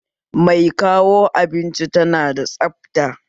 Mai kawo abinci tana da tsabta